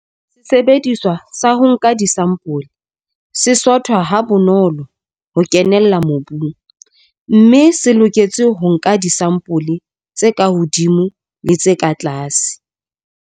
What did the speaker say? Photo 1- Sesebediswa sa ho nka disampole se sothwa ha bonolo ho kenella mobung, mme se loketse ho nka disampole tse ka hodimo le tse ka tlase.